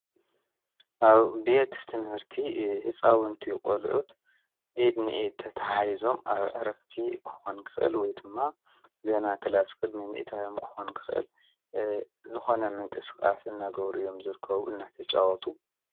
ኣብ ቤት ትምህርቲ ሕፃውንቲ ቖልዑት ኤድኒኢ ተተዓይዞም ኣብ ዕረፍቲ ክኾን ክቕል ወይ ድማ ገና ከላስ ቅድሚ ሚእታዮም ክኾን ክኽል ልኾነ ምንቂ ሥቓስ እናገብር እዮም ዝርከቡ ።